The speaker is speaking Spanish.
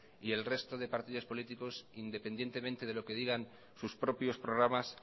y el resto de partidos políticos independientemente de lo que digan sus propios programas